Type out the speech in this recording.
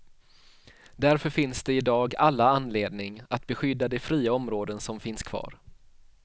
Därför finns det i dag alla anledning att beskydda de fria områden som finns kvar.